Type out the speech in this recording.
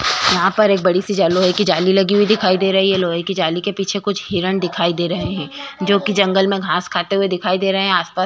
यहाँ पर एक बड़ी सी लोहे की जाली लगी हुई दिखाई दे रही है। लोहे के जाली के पीछे कुछ हिरन दिखाई दे रहे हैं जो की जंगल में घास खाते हुये दिखाई दे रहे हैं। आसपास --